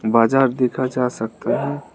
बाजार देखा जा सकता है।